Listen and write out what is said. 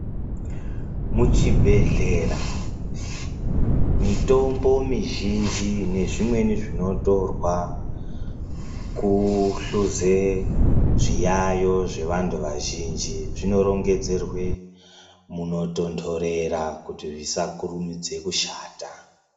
Muchibhedhlera mitombo mizhinji nezvimweni zvinotorwa kuhluze zviyayo zvevantu vazhinji zvinorongedzerwe munotondorera kuti zvisakurumidze kushata.